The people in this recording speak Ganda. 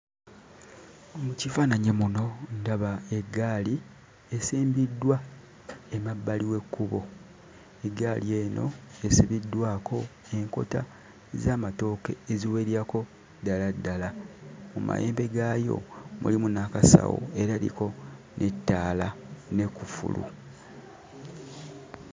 Mu kifaananyi muno ndaba eggaali esimbiddwa emabbali w'ekkubo, eggaali eno esibiddwako enkota z'amatooke eziwererako ddala ddala. Mu mayembe gaayo mulimu n'akasawo era eriko n'ettaala n'ekkufulu.